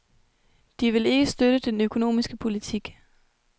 De vil ikke støtte den økonomiske politik.